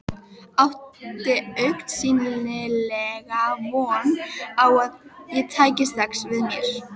Átti augsýnilega von á að ég tæki strax við mér.